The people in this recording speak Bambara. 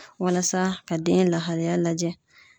Walasa ka den lahalaya lajɛ.